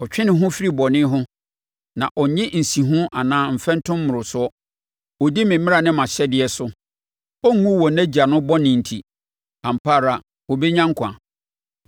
Ɔtwe ne ho firi bɔne ho, na ɔnnye nsiho anaa mfɛntom mmorosoɔ. Ɔdi me mmara ne mʼahyɛdeɛ so. Ɔrenwu wɔ nʼagya no bɔne nti; ampa ara ɔbɛnya nkwa.